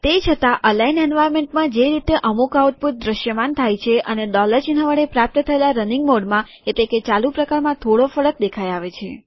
તે છતાં અલાઈન્ડ એન્વાર્નમેન્ટમાં જે રીતે અમુક આઉટપુટ દ્રશ્યમાન થાય છે અને ડોલર ચિન્હ વડે પ્રાપ્ત થયેલા રનીંગ મોડમાં એટલે કે ચાલુ પ્રકારમાં થોડો ફરક દેખાઈ આવે છે